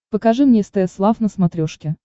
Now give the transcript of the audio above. покажи мне стс лав на смотрешке